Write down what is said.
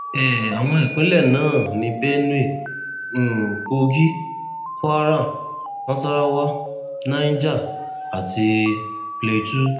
um àwọn ìpínlẹ̀ náà ni benue um kogi kwara nasarawa niger àti plateau